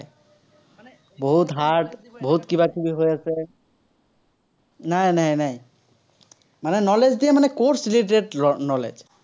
বহুত hard বহুত কিবা-কিবি হৈ আছে, নাই নাই। মানে knowledge দিয়ে মানে, course related knowledge